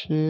Ṣé